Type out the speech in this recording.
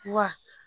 Wa